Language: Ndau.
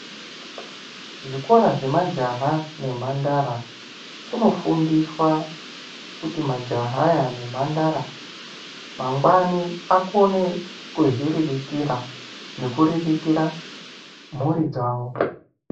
Zvikora zvemajaha nemhandara, kunofundiswa kuti majaha aya nemphandara, mangwani akone kuzviriritira, nekuriritira mhuri dzavo.